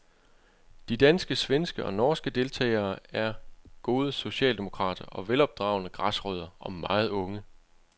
De danske, svenske og norske deltagere er gode socialdemokrater og velopdragne græsrødder, og meget unge.